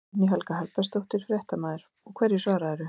Guðný Helga Herbertsdóttir, fréttamaður: Og hverju svararðu?